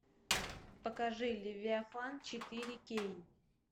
покажи левиафан четыре кей